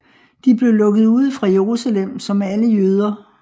De blev lukket ude fra Jerusalem som alle jøder